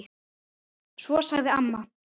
Svo sagði mamma